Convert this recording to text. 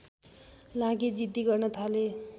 लागि जिद्दी गर्न थाले